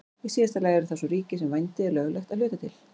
Í síðasta lagi eru það svo ríki þar sem vændi er löglegt að hluta til.